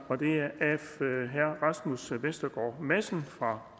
af herre rasmus vestergaard madsen fra